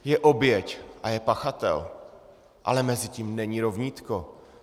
Je oběť a je pachatel, ale mezi tím není rovnítko.